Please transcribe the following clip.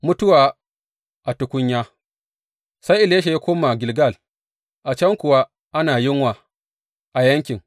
Mutuwa a tukunya Sai Elisha ya koma Gilgal, a can kuwa ana yunwa a yankin.